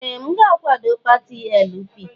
Ee! M ga-akwado pati LP.